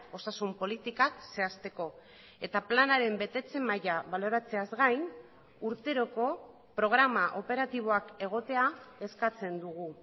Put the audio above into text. osasun politikak zehazteko eta planaren betetze maila baloratzeaz gain urteroko programa operatiboak egotea eskatzen dugu